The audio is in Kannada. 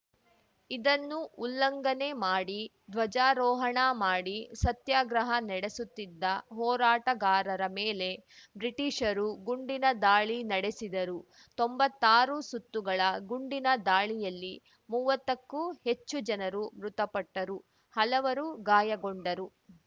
ಇದನ್ನು ಉಲ್ಲಂಘನೆ ಮಾಡಿ ಧ್ವಜಾರೋಹಣ ಮಾಡಿ ಸತ್ಯಾಗ್ರಹ ನಡೆಸುತ್ತಿದ್ದ ಹೋರಾಟಗಾರರ ಮೇಲೆ ಬ್ರಿಟಿಷರು ಗುಂಡಿನ ದಾಳಿ ನಡೆಸಿದರು ತೊಂಬತ್ತಾರು ಸುತ್ತುಗಳ ಗುಂಡಿನ ದಾಳಿಯಲ್ಲಿ ಮೂವತ್ತಕ್ಕೂ ಹೆಚ್ಚು ಜನರು ಮೃತಪಟ್ಟರು ಹಲವರು ಗಾಯಗೊಂಡರು